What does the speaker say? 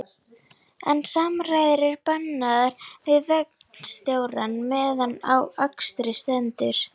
En samræður eru bannaðar við vagnstjórann meðan á akstri stendur